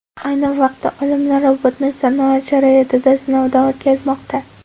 Ayni vaqtda olimlar robotni sanoat sharoitida sinovdan o‘tkazmoqda.